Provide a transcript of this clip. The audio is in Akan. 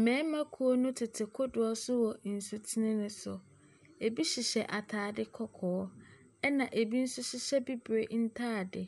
Mmarimakuo no tete kodoɔ so wɔ nsutene no so. Ebi hyehyɛ ataade kɔkɔɔ ɛna ebi nso hyehyɛ bibre ntaade,